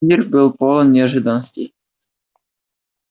мир был полон неожиданностей